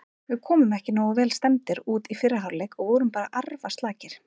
Við komum ekki nógu vel stemmdir út í fyrri hálfleik og vorum bara arfaslakir.